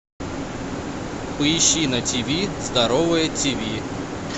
поищи на тв здоровое тв